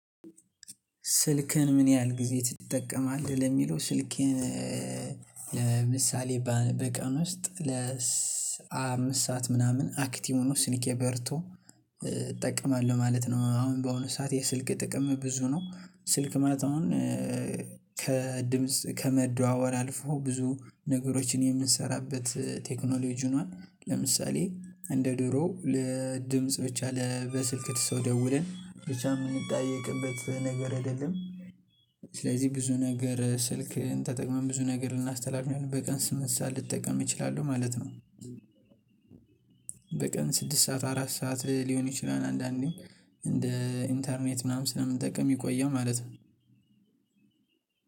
ስልክህን ምን ያህል ጊዜ ትጠቀማለህ? ለሚለው ስልኬን ለምሳሌ በቀን ውስጥ ለአምስት ሰዓት ምናምን አክቲቭ ሆኖ ስኒኬ በርቶ እጠቀማለሁ ማለት ነው። አሁን በአሁኑ ሰዓት የስልክ ጥቅም ብዙ ነው። ስልክ ማለት አሁን ከድምጽ ከመደዋወር አልፎ ብዙ ነገሮችን የምንሰራበት ቴክኖሎጂ ሆኗል። ለምሳሌ እንደ ድሮ ለድምጽ ብቻ ለበስልክ ሰው ደውለን ብቻ የምንጠየቅበት ነገር አይደለም። ስለዚህ ብዙ ነገር ስልክን ተጠቅመን ብዙ ነገር ልናስተላልፍበት በቀን ስምንት ሰዓት ልጠቀም እችላለሁ ማለት ነው። በቀን ስድስት ሰዓት አራት ሰዓት ሊሆን ይችላል። አንዳንዴ እንደ ኢንተርኔት ምናምን ስለምንጠቅም ይቆያል ማለት ነው።